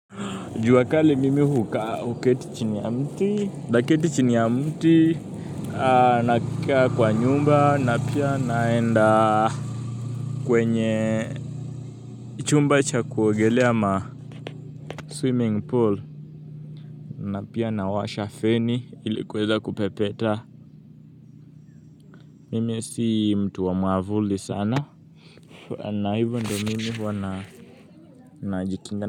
Jua kali mimi huketi chini ya mti, naketi chini ya mti, nakaa kwa nyumba na pia naenda kwenye chumba cha kuogelea ama swimming pool na pia nawasha feni ili kuweza kupepeta, mimi si mtu wa mwavuli sana, na hivyo ndo mimi huwa na najikinga.